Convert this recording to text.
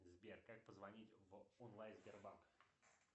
сбер как позвонить в онлайн сбербанк